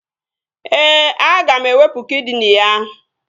Ee, aga m ewepu kidini ya